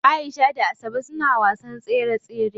Aisha da Asabe suna wasan tsere tsere.